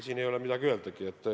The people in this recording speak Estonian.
Siin ei ole midagi öeldagi.